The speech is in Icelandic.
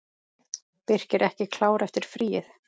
Birkir ekki klár eftir fríið?